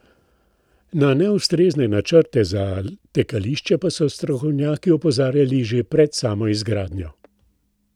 Na neustrezne načrte za tekališče pa so strokovnjaki opozarjali že pred samo izgradnjo.